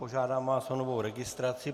Požádám vás o novou registraci.